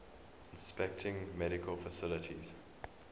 inspecting medical facilities